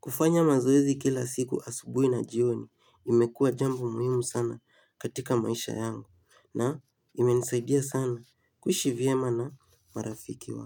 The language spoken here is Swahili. kufanya mazoezi kila siku asubuhi na jioni imekua jambo muhimu sana katika maisha yangu na imenisaidia sana kuishivyema na marafiki wangu.